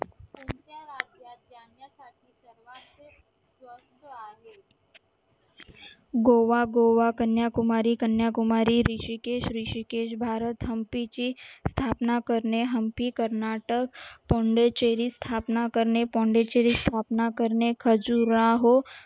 गोवा गोवा कन्याकुमारी कन्याकुमारी ऋषिकेश ऋषिकेश भारत हम्पी ची स्थापना करणे हम्पी कर्नाटक pondicherry स्थापना करणे pondicherry स्थापना करणे